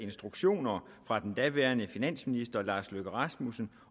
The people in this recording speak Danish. instruktioner fra den daværende finansminister lars løkke rasmussen